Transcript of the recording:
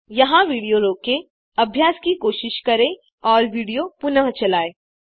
यहाँ विडियो रोकें अभ्यास की कोशिश करें और विडियो पुनः चलायें